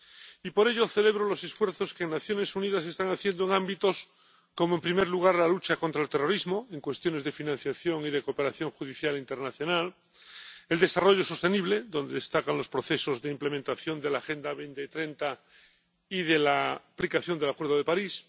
Y por ello celebro los esfuerzos que las Naciones Unidas están haciendo en ámbitos como, en primer lugar, la lucha contra el terrorismo, en cuestiones de financiación y de cooperación judicial internacional el desarrollo sostenible, donde destacan los procesos de implementación de la Agenda 2030 y de la aplicación del Acuerdo de París